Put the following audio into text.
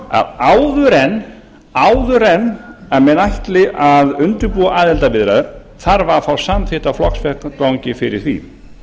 að áður en menn ætli að undirbúa aðildarviðræður þarf að fá samþykkt á flokksvettvangi fyrir því í